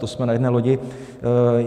To jsme na jedné lodi.